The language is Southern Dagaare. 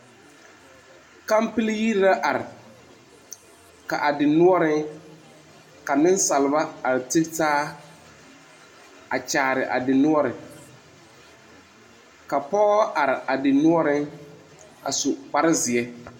Kampil yire la are. Ka a dinuoreŋ, ka nesalba are te taa a kyaare a dinuore Ka pɔgɔ are a dinuoreŋ a su kpar zie.